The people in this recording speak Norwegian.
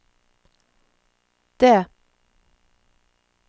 D